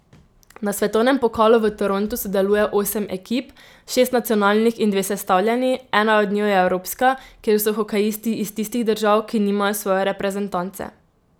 Na svetovnem pokalu v Torontu sodeluje osem ekip, šest nacionalnih in dve sestavljeni, ena od njiju je evropska, kjer so hokejisti iz tistih držav, ki nimajo svoje reprezentance.